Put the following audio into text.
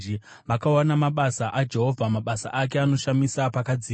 Vakaona mabasa aJehovha, mabasa ake anoshamisa pakadzika.